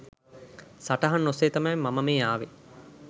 සටහන් ඔස්සේ තමයි මම මේ ආවේ